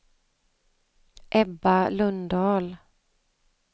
Ebba Lundahl